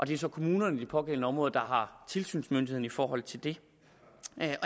det er så kommunerne i de pågældende områder der har tilsynsmyndigheden i forhold til det